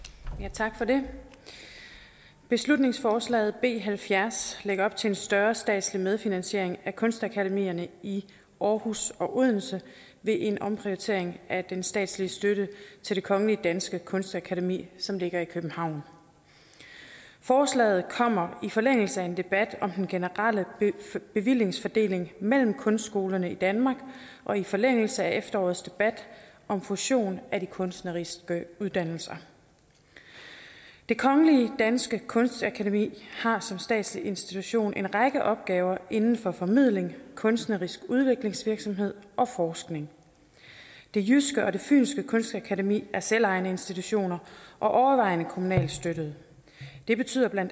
tak for det beslutningsforslaget b halvfjerds lægger op til en større statslig medfinansiering af kunstakademierne i aarhus og odense ved en omprioritering af den statslige støtte til det kongelige danske kunstakademi som ligger i københavn forslaget kommer i forlængelse af en debat om den generelle bevillingsfordeling mellem kunstskolerne i danmark og i forlængelse af efterårets debat om fusion af de kunstneriske uddannelser det kongelige danske kunstakademi har som statslig institution en række opgaver inden for formidling kunstnerisk udviklingsvirksomhed og forskning det jyske kunstakademi og det fynske kunstakademi er selvejende institutioner og overvejende kommunalt støttede det betyder bla